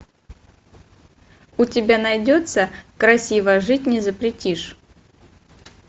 у тебя найдется красиво жить не запретишь